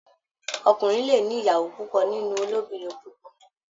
Ọkùnrin le ní ìyàwó púpò nínú olobinrin púpọ.